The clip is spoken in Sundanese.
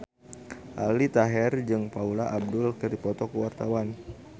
Aldi Taher jeung Paula Abdul keur dipoto ku wartawan